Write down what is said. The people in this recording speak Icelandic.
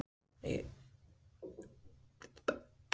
Þróun almennt Af hverju eru til svona margar dýrategundir?